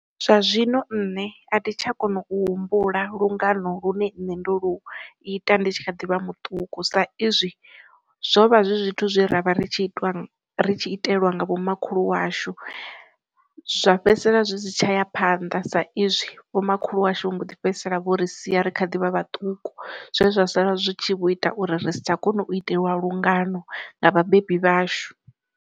Zwa zwino nṋe a thi tsha kona u humbula lungano lune nṋe ndo lu ita ndi tshi kha ḓivha muṱuku sa izwi zwo vha zwi zwithu zwi ravha ri tshi itiwa ri tshi itelwa nga vhomakhulu washu, zwa fhedzisela zwi si tshaya phanḓa sa izwi vho makhulu ashu vhu mbo ḓi fhedzisela vho ri sia ri kha ḓivha vhaṱuku zwe zwa sala zwi tshi vho ita uri ri si tsha kona u itelwa lungano nga vhabebi vhashu.